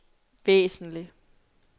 væsentlig